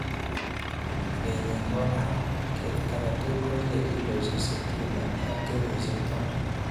Rurenyin kobo barak. Ketit agetugul koiye kiloisiek sitini en kenyisiek taman